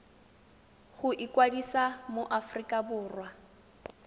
go ikwadisa mo aforika borwa